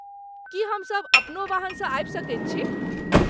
की हम सभ अपनो वाहन सँ आबि सकैत छी?